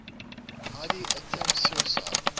heidi attempts suicide